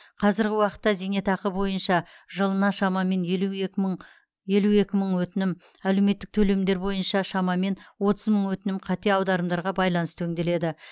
қазіргі уақытта зейнетақы бойынша жылына шамамен елу екі мың елу екі мың өтінім әлеуметтік төлемдер бойынша шамамен отыз мың өтінім қате аударымдарға байланысты өңделеді